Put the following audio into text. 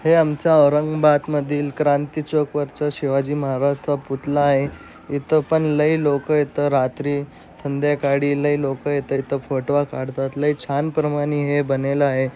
हे आमच्या औरंगाबाद मधील क्रांती चौक वर्चा शिवाजी महाराजांचा पुतला आहे. इथं पण लय लोक इथं रात्री संध्याकाळी इथं लय लोक फोटो काढतात लई छान प्रमाणे हे बनेला आहे.